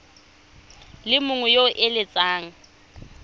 le mongwe yo o eletsang